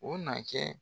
O na kɛ